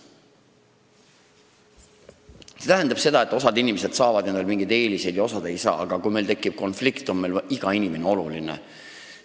See tähendab seda, et osa inimesi saavad endale mingeid eeliseid ja osa ei saa, aga kui meil tekib konflikt, on meile iga inimene oluline.